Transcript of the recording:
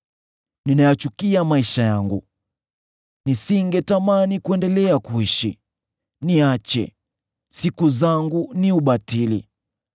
Ninayachukia maisha yangu; nisingetamani kuendelea kuishi. Niache; siku zangu ni ubatili.